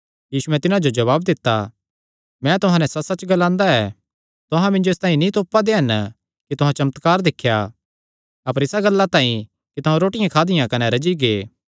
यीशुयैं तिन्हां जो जवाब दित्ता मैं तुहां नैं सच्चसच्च ग्लांदा ऐ तुहां मिन्जो इसतांई नीं तोपा दे हन कि तुहां चमत्कार दिख्या अपर इसा गल्ला तांई कि तुहां रोटियां खादियां कने रज्जी गै